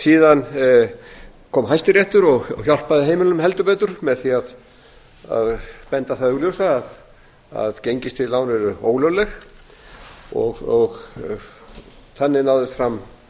síðan kom hæstiréttur og hjálpaði heimilum heldur betur með því að benda á það augljósa að gengistryggð lán eru ólögleg og þannig náðist fram